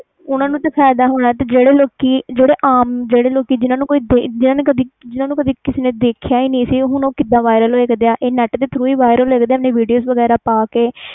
ਉਨ੍ਹਾਂ ਨੂੰ ਦੇ ਫਾਇਦਾ ਹੋਣਾ ਜਿਹੜੇ ਲੋਕੀ ਆਮ ਜਿਨ੍ਹਾਂ ਨੂੰ ਕਦੇ ਕਿਸੇ ਨੇ ਦੇਖਿਆ ਨਹੀਂ ਹੁਣ ਉਹ ਕੀਦਾ viral ਹੋਏ ਦੇ ਆ ਇਹ net ਦੇ tharo viral ਹੋ ਹੋਏ ਆ ਵੀਡੀਓ ਬਣਾ ਕੇ